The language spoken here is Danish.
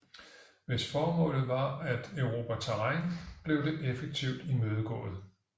Hvis formålet var at erobre terræn blev det effektivt imødegået